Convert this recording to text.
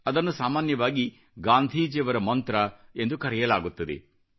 ಅದನ್ನು ಸಾಮಾನ್ಯವಾಗಿ ಗಾಂಧೀಜಿಯವರ ಮಂತ್ರ ಎಂದು ಕರೆಯಲಾಗುತ್ತದೆ